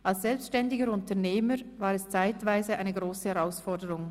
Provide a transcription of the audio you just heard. Als selbständiger Unternehmer war es zeitweise eine grosse Herausforderung.